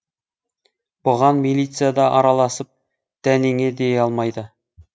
бұған милиция да араласып дәнеңе дей алмайды